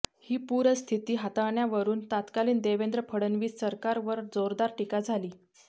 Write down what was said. ही पूरस्थिती हाताळण्यावरून तत्कालीन देवेंद्र फडणवीस सरकारवर जोरदार टीका झाली